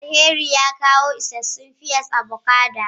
Alheri ya kawo isassun pear avocado.